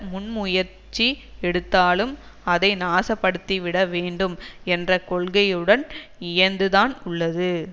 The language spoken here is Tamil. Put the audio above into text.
முன் முயற்சி எடுத்தாலும் அதை நாசப்படுத்திவிட வேண்டும் என்ற கொள்கையுடன் இயைந்துதான் உள்ளது